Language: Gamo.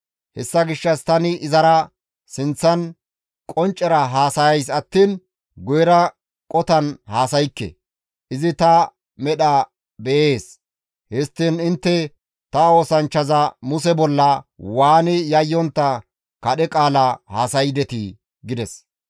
Hessa gishshas tani izara sinththan qonccera haasayays attiin guyera qotan haasaykke; izi ta medha beyees; histtiin intte ta oosanchchaza Muse bolla waani yayyontta kadhe qaala haasaydetii?» gides.